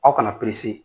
Aw kana